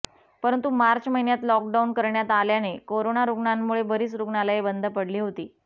परंतु मार्च महिन्यात लॉकडाऊन करण्यात आल्याने कोरोना रूग्णांमुळे बरीच रूग्णालये बंद पडली होती